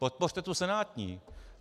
Podpořte tu senátní.